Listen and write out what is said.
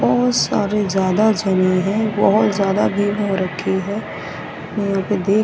बहोत सारे ज्यादा जने हैं बहोत ज्यादा भीड़ हो रखी है यहां पे देख--